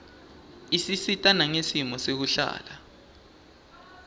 isisita nangesimo sekuhlala